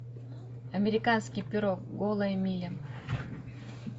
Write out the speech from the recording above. американский пирог голая миля